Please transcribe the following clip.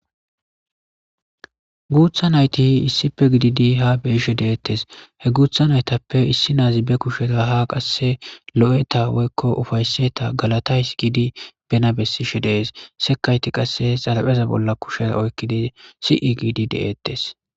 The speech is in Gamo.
Guutha nayti issippe gidid ha beyishe detesi , he guutha naytappe issi nazi be kusheza ha qase lo'eta woyko ufayseta galatayasi giidi bena besishe de'es, sekayti qase xarapheza bolla kushera oykidi si'i giidi de'etes.